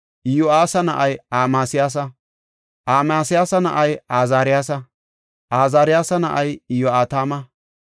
Iyo7aasa na7ay Amasiyaasa; Amasiyaasa na7ay Azaariyasa; Azaariyasa na7ay Iyo7atama;